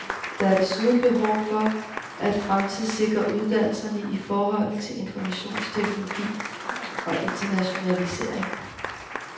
Der er desuden behov for at fremtidssikre uddannelserne i forhold til informationsteknologi og internationalisering.